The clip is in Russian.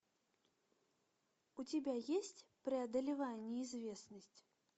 у тебя есть преодолевая неизвестность